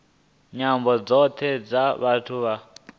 nyambo dzothe dza vhathu vha